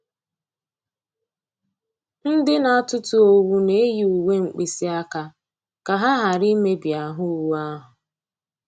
Ndị na-atụtụ owu na-eyi uwe mkpịsị aka ka ha ghara i mebi ahụ́ owu ahụ̀.